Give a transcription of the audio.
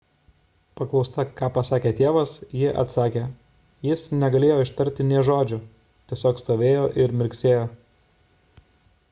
paklausta ką pasakė tėvas ji atsakė jis negalėjo ištarti nė žodžio – tiesiog stovėjo ir mirksėjo